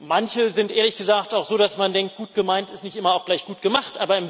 Manche sind ehrlich gesagt auch so, dass man denkt Gut gemeint ist nicht immer gleich gut gemacht.